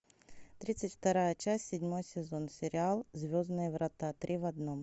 тридцать вторая часть седьмой сезон сериал звездные врата три в одном